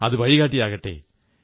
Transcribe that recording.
അതു വഴികാട്ടിയാകട്ടെ